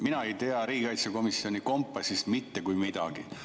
Mina ei tea riigikaitsekomisjoni kompassist mitte kui midagi.